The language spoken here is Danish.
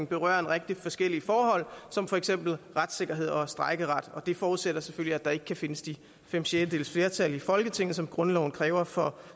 berører en række forskellige forhold som for eksempel retssikkerhed og strejkeret det forudsætter selvfølgelig at der ikke kan findes de fem sjettedeles flertal i folketinget som grundloven kræver for